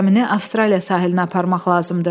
Gəmini Avstraliya sahilinə aparmaq lazımdır.